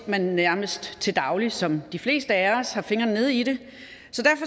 man nærmest til daglig som de fleste af os har fingrene nede i det